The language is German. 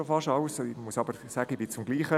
Ich bin zum selben Ergebnis gekommen.